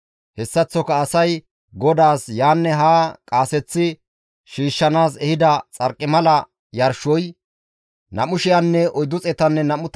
Hessaththoka asay GODAAS yaanne haa qaaseththi shiishshanaas ehida xarqimala yarshoy 2,425 kilo gidides.